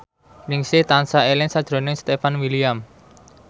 Ningsih tansah eling sakjroning Stefan William